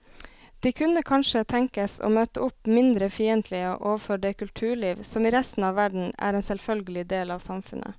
De kunne kanskje tenkes å møte opp mindre fiendtlige overfor det kulturliv som i resten av verden er en selvfølgelig del av samfunnet.